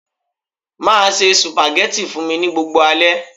Be cooking spaghetti for me every night.